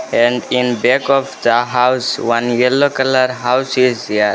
And in back of the house one yellow colour house is here.